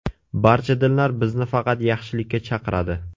Barcha dinlar bizni faqat yaxshilikka chaqiradi.